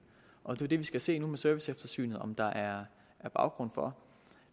og det er jo det vi skal se nu med serviceeftersynet om der er baggrund for